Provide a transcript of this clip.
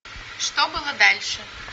что было дальше